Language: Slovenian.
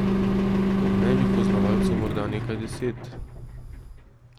Po mnenju poznavalcev morda nekaj deset.